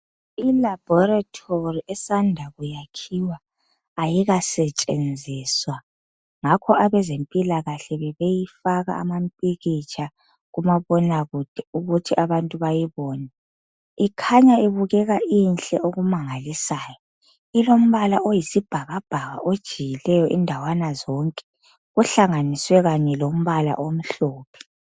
Ilabhorethori esanda kuyakhiwa, ayikasetshenziswa. Ngakho abezempilakahle bebeyifaka amampikitsha kumabona kude ukuthi abantu bayibone. Ikhanya ibukeka inhle okumangalisayo. Ilombala oyisibhakabhaka ojiyileyo indawana zonke ohlanganiswe kanye lombala omhlophe.